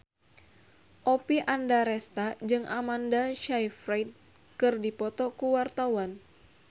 Oppie Andaresta jeung Amanda Sayfried keur dipoto ku wartawan